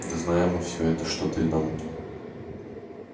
да знаем мы всё это что ты нам